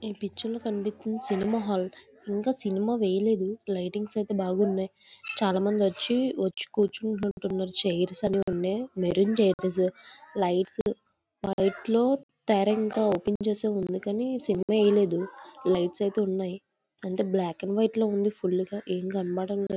ఈ పిక్చర్ లో కనిపిస్తుంది. సినిమా హాల్ ఇంకా సినిమా లేదు. లైటింగ్ అయితే బాగున్నాయి. చాలామంది వచ్చి వచ్చి కూర్చున్నారు. చైర్స్ అన్ని ఉన్నాయి. మెరూన్ చైర్స్ లైట్స్ ఓపెన్ చేసి ఉంది కానీ ఇంకా సినిమా వేయలేదు అంత బ్లాక్ అండ్ వైట్ లో ఉంది ఏం కనపడట్లేదు .